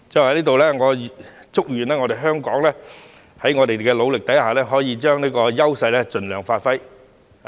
我在此祝願香港，在我們的努力下，可以將這個優勢盡量發揮。